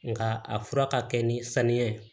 Nga a fura ka kɛ ni saniya ye